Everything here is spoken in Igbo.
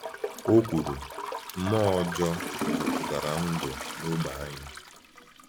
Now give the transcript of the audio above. O kwuru: “Mmụọ-ọjọọ jupụtara ndụ n’ógbè anyị.”